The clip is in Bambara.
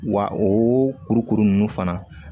Wa o kurukuru ninnu fana